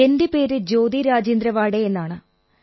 എന്റെ പേര് ജ്യോതി രാജേന്ദ്ര വാഡേ എന്നാണ്